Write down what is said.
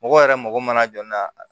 Mɔgɔ yɛrɛ mago mana jɔ n'a